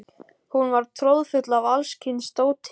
Hún var troðfull af alls kyns dóti.